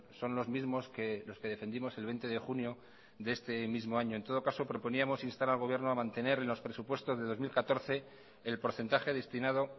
son los mismos que los que defendimos el veinte de junio de este mismo año en todo caso proponíamos instar al gobierno a mantener en los presupuestos de dos mil catorce el porcentaje destinado